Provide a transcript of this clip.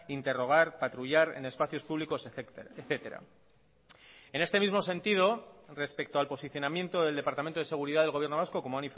interrogar patrullar en espacios públicos etcétera en este mismo sentido respecto al posicionamiento del departamento de seguridad del gobierno vasco como